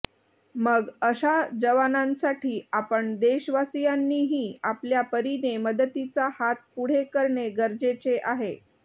मग अशा जवानांसाठी आपण देशवासियांनीही आपल्या परिने मदतीचा हात पुढे करणे गरजेचे आहे